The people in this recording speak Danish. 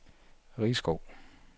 Risskov